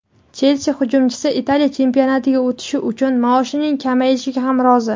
"Chelsi" hujumchisi Italiya chempionatiga o‘tish uchun maoshining kamayishiga ham rozi;.